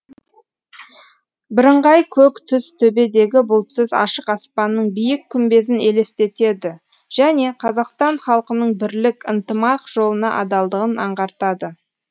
бірыңғай көк түс төбедегі бұлтсыз ашық аспанның биік күмбезін елестетеді және қазақстан халқының бірлік ынтымақ жолына адалдығын аңғартады